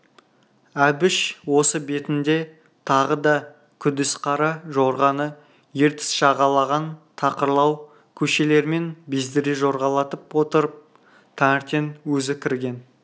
әбіш осы бетінде тағы да күдіс қара жорғаны ертіс жағалаған тақырлау көшелермен бездіре жорғалатып отырып таңертең өзі кірген